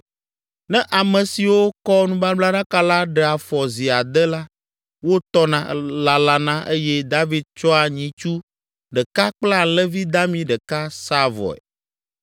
Ne ame siwo kɔ nubablaɖaka la ɖe afɔ zi ade la, wotɔna, lalana eye David tsɔa nyitsu ɖeka kple alẽvi dami ɖeka saa vɔe.